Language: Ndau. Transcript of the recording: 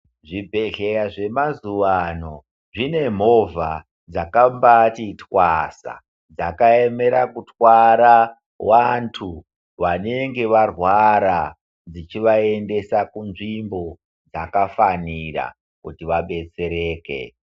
Zvibhehleya zvemazuwano zvine mhovha dzakambati twasa dzakaemera kutwara wantu vanenge varwara dzichivaendesa kunzvimbo dzakafanira kuti vabetsereke.